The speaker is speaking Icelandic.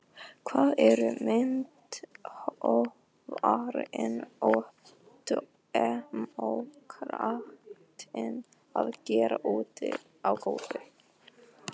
Hvað eru myndhöggvarinn og demókratinn að gera úti á gólfi.